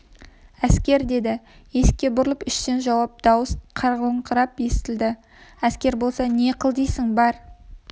әскер деді есікке бұрылып іштен жауап дауыс қарлығыңқырап естілді әскер болса не қыл дейсің бар